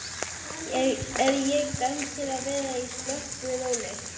Er ég dæmd til að vera á slöppu róli?